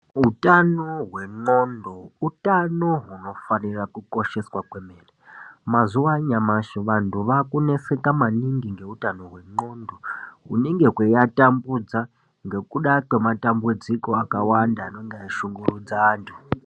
Utano hwemuntu utano hufanira kukosheswa komene, mazuva anyamashe vantu vakunetseka maningi ngeutano hwemuntu hunenge huchivatambudza ngekuda kwematambudziko akawanda anenge achishungurudza vantu.